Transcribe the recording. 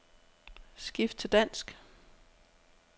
Skift til dansk.